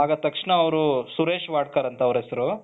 ಆಗ ತಕ್ಷಣ ಅವರು ಸುರೇಶ್ ವಾಡ್ಕರ್ ಅಂತ ಅವರ ಹೆಸರು,